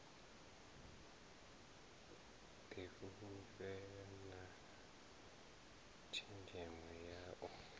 difhulufhela na tshenzhemo ya u